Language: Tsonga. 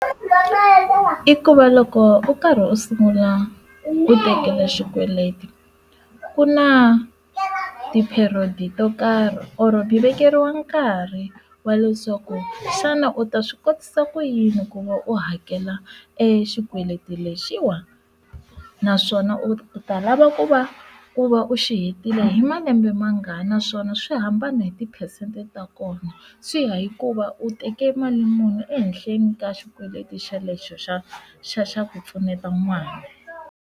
I ku va loko u karhi u sungula u tekela xikweleti ku na ti period to karhi or vekeriwa nkarhi wa leswaku xana u ta swi kotisa ku yini ku va u hakela exikweleti lexiwa naswona u ta lava ku va ku va u xi hetile hi malembe ma ngani naswona swi hambana hi tiphesente ta kona swi ya hikuva u teke mali muni ehenhleni ka xikweleti xelexo xa xa xa ku pfuneta n'wana.